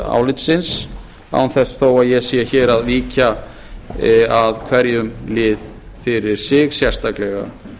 álitsins án þess þó að ég sé hér að víkja að hverjum lið fyrir sig sérstaklega